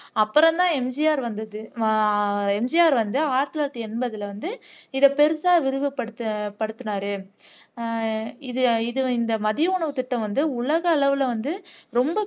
அப்புறம்தான் எம்ஜிஆர் வந்தது அஹ் எம்ஜிஆர் வந்து ஆயிரத்தி தொள்ளாயிரத்து எண்பதுல வந்து இதை பெருசா விரிவு படுத் படுத்துனார் அஹ் இது இது இந்த மதிய உணவுத்திட்டம் வந்து உலக அளவுல வந்து ரொம்ப